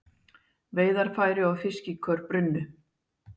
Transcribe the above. Veiðarfæri og fiskikör brunnu